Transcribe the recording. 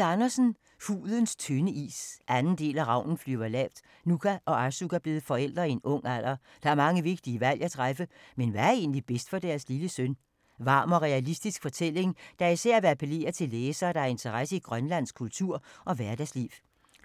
Andersen, Lise: Hudens tynde is 2. del af Ravnen flyver lavt. Nuka og Arsuk er blevet forældre i en ung alder. Der er mange vigtige valg at træffe, men hvad er egentlig bedst for deres lille søn? Varm og realistisk fortælling, der især vil appellere til læsere, der har interesse i grønlandsk kultur og hverdagsliv.